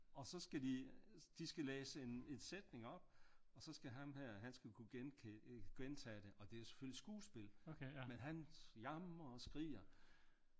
Og så skal de de skal læse en sætning op og så skal ham her han skal kunne gentage det og det er selvfølgelig skuespil men han jamrer og skriger